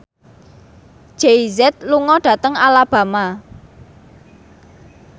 Jay Z lunga dhateng Alabama